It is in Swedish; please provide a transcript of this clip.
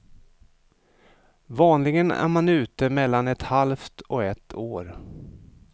Vanligen är man ute mellan ett halvt och ett år.